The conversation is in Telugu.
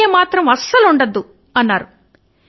వంకాయ మాత్రం వద్దు అన్నారు